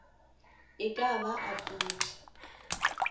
e ka ba a pudi